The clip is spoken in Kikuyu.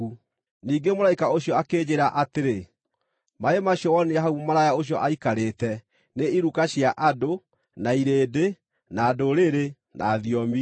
Ningĩ mũraika ũcio akĩnjĩĩra atĩrĩ, “Maaĩ macio wonire hau mũmaraya ũcio aikarĩte nĩ iruka cia andũ, na irĩndĩ, na ndũrĩrĩ, na thiomi.